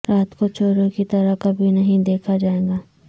رات کو چوروں کی طرح کبھی نہیں دیکھا جائے گا